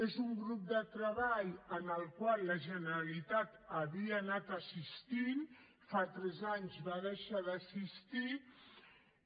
és un grup de treball al qual la generalitat havia anat assistint i fa tres anys va deixar d’assistir hi